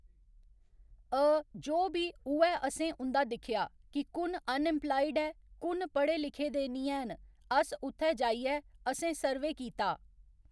अ जो बी उ'ऐ अ'सें उं'दा दिक्खेआ कि कु'न अनइम्पलायड ऐ कु'न पढ़े लिखे दे निं हैन अस उत्थै जाइयै अ'सें सर्वे कीता।